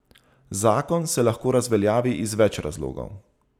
Zakon se lahko razveljavi iz več razlogov.